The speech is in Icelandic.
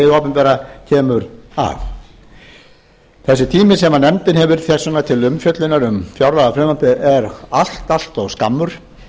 opinbera kemur að þessi tími sem nefndin hefur þess vegna til umfjöllunar um fjárlagafrumvarpið er allt of skammur